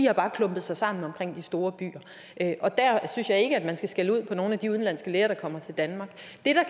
har bare klumpet sig sammen omkring de store byer og der synes jeg ikke at man skal skælde ud på nogle af de udenlandske læger der kommer til danmark